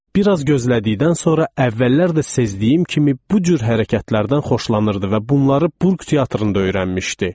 Bir az gözlədikdən sonra əvvəllər də sezdiyim kimi bu cür hərəkətlərdən xoşlanırdı və bunları Burq teatrında öyrənmişdi.